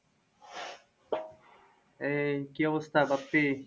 এই কি অবস্থা?